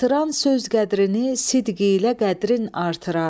Artıran söz qədrini sidq ilə qədrin artırar.